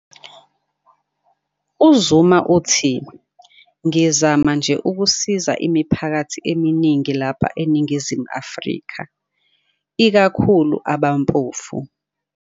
UZuma uthi- "Ngizama nje ukusiza imiphakathi eminingi lapha eNingizimu Afrika. Ikakhulu abampofu".